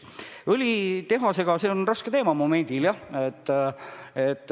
Õlitehase teema on momendil jah raske.